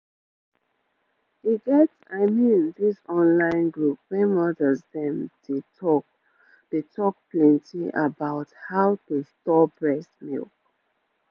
e get i mean this online group wey mothers dem dey talk dey talk plenty about how to store breast milk